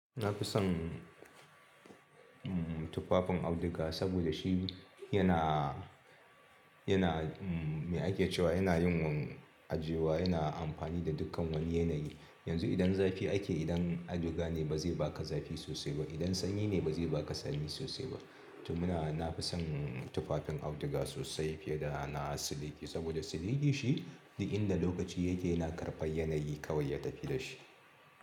Na fi son tufafin auduga saboda shi yana, yana me ake cewa yana yin ajiyewa, yana amfani da dukkan wani yanayi. Yanzu idan zafi ake, idan auduga ne ba zai baka zafi sosai ba. Idan sanyi ne ba zai baka sanyi sosai ba. To muna, na fi son tufafin auduga sosai fiye da na siliki, saboda siliki shi duk inda lokaci yake yana karɓa yanayi kawai ya tafi da shi.